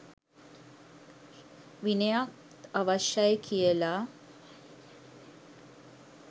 විනයත් අවශ්‍ය යි කියලා